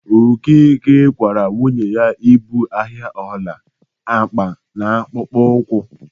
Okeke kwaara nwunye ibu ahịa ọla, akpa na akpụkpọ ụkwụ.